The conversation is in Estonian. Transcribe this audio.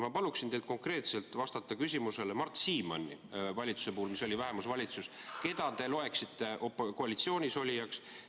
Ma palun teil konkreetselt vastata küsimusele, keda te loeksite Mart Siimanni valitsuse puhul, mis oli vähemusvalitsus, koalitsioonis olijaks.